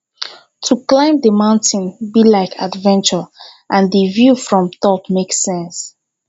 to climb di mountain be like adventure and di view from top make sense